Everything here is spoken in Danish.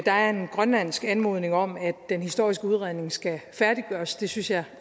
er en grønlandsk anmodning om at den historiske udredning skal færdiggøres det synes jeg